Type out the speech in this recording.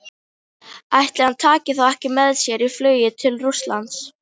Ætli hann taki þá ekki með sér í flugið til Rússlands?